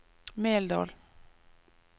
Meldal